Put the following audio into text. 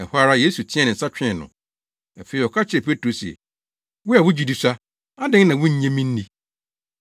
Ɛhɔ ara, Yesu teɛɛ ne nsa twee no. Afei ɔka kyerɛɛ Petro se, “Wo a wo gyidi sua, adɛn na wunnye me nni?”